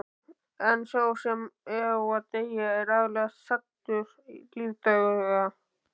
En sá sem á að deyja er aðallega saddur lífdaga.